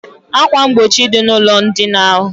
Akwa mgbochi dị n' ụlọ ndina ahụ